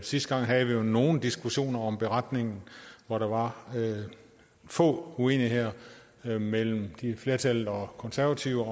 sidste gang havde vi jo nogle diskussioner om beretningen hvor der var få uenigheder mellem flertallet og konservative